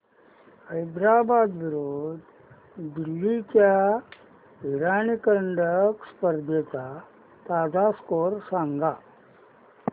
हैदराबाद विरुद्ध दिल्ली च्या इराणी करंडक स्पर्धेचा ताजा स्कोअर सांगा